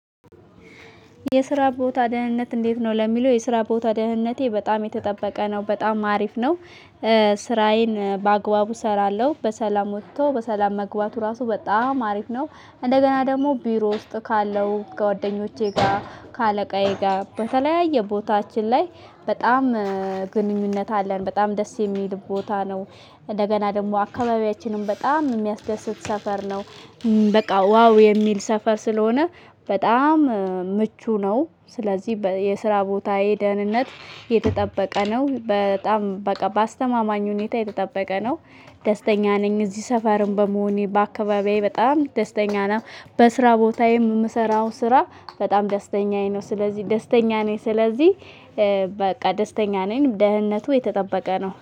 የስራ ቦታ ደህንነት እንዴት ነው ለሚለው የስራ ቦታ ደህንነቴ በጣም የተጠበቀ ነው በጣም አሪፍ ነው። ስራዬን በአግባቡ እሰራለሁ በሰላም ወጥተው በሰላም መግባቱ ራሱ በጣም አሪፍ ነው። እንደገና ደግሞ ቢሮ ውስጥ ካለው ከጓደኞቼ ጋር ከአለቃዬ ጋር በተለያየ ቦታችን ላይ በጣም ግንኙነት አለን በጣም ደስ የሚል ቦታ ነው። እንደገና ደግሞ አካባቢያችንን በጣም የሚያስደስት ሰፈር ነው። በቃ ዋው የሚል ሰፈር ስለሆነ በጣም ምቹ ነው። ስለዚህ የስራ ቦታዬ ደህንነት የተጠበቀ ነው በጣም በቃ በአስተማማኝ ሁኔታ የተጠበቀ ነው። ደስተኛ ነኝ እዚህ ሰፈርም በመሆኔ በአካባቢዬ በጣም ደስተኛ ነው። በስራ ቦታዬም የምሰራው ስራ በጣም ደስተኛዬ ነው። ስለዚህ ደስተኛ ነኝ ስለዚህ በቃ ደስተኛ ነኝ ደህንነቱ የተጠበቀ ነው